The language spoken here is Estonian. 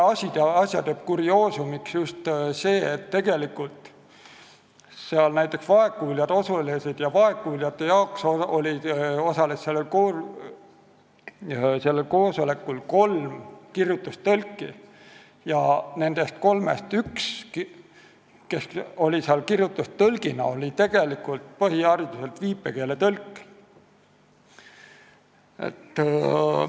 Asja tegi kurioosumiks aga see, et tegelikult osales koosolekul vaegkuuljate jaoks kohale kutsustud kolm kirjutustõlki ja nendest kolmest üks oli tegelikult põhihariduselt viipekeeletõlk.